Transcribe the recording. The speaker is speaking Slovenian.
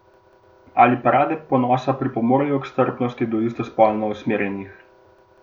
Ali parade ponosa pripomorejo k strpnosti do istospolno usmerjenih?